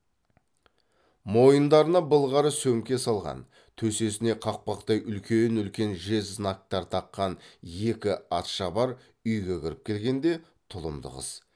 мойындарына былғары сөмке салған төсесіне қақпақтай үлкен үлкен жез знактар таққан екі атшабар үйге кіріп келгенде тұлымды қыз